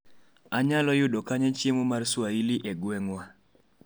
anyalo yudo kanye chiemo mar Swahili e gweng'wa